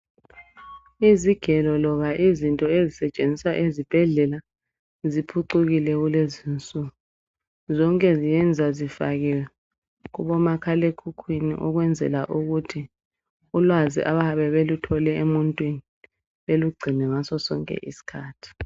Izigelo loba izinto ezisetshenziswa ezibhedlela ziphucukile kulezi nsuku, zonke ziyenza zifakiwe kubo makhalekhukhwini ukwenzela ukuthi ulwazi abayabe beluthole emuntwini belugcine ngaso sonke iskhathi.